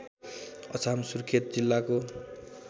अछाम सुर्खेत जिल्लाको